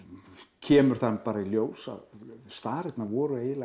kemur það nú bara í ljós að starirnar voru